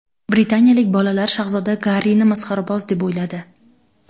Britaniyalik bolalar shahzoda Garrini masxaraboz deb o‘yladi.